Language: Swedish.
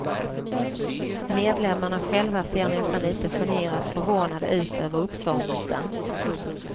Medlemmarna själva ser nästan lite generat förvånade ut över uppståndelsen.